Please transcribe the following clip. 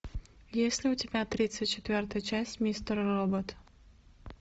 есть ли у тебя тридцать четвертая часть мистер робот